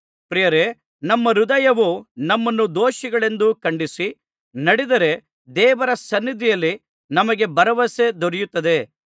ಪ್ರಿಯರೇ ನಮ್ಮ ಹೃದಯವು ನಮ್ಮನ್ನು ದೋಷಿಗಳೆಂದು ಖಂಡಿಸಿ ನಡೆದರೆ ದೇವರ ಸನ್ನಿಧಿಯಲ್ಲಿ ನಮಗೆ ಭರವಸೆ ದೊರೆಯುತ್ತದೆ